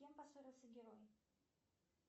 с кем поссорился герой